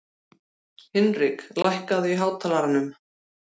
Hinrik, lækkaðu í hátalaranum.